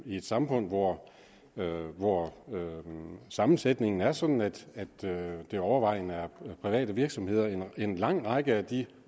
i et samfund hvor hvor sammensætningen er sådan at det overvejende er private virksomheder en lang række af de